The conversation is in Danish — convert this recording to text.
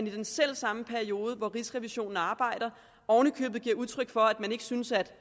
i den selv samme periode hvor rigsrevisionen arbejder og oven i købet giver udtryk for at man ikke synes at